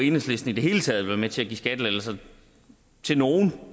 enhedslisten i det hele taget vil være med til at give skattelettelser til nogen